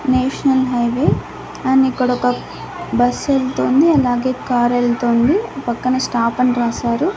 National highway and ఇక్కడ ఒక bus ఎల్తోంది అలాగే కార్ ఎల్తోంది పక్కన స్టాప్ అని రాశారు.